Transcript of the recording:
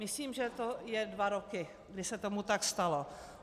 Myslím, že to je dva roky, kdy se tomu tak stalo.